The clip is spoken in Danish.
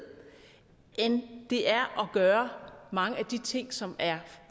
end det er at gøre mange af de ting som er